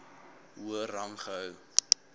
hoër rang gehou